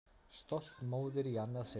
Stolt móðir í annað sinn.